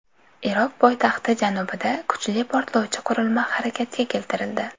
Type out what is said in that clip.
Iroq poytaxti janubida kuchli portlovchi qurilma harakatga keltirildi.